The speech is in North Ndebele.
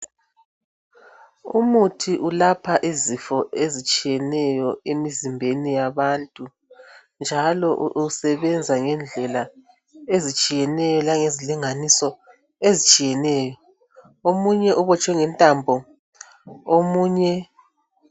Umithi ulapha izifo ezitshiyeneyo emzimbeni yabantu njalo usebenza ngendlela ezitshiyeneyo langezilinganiso ezitshiyeneyo omunye ubotshwe ngentambo omunye.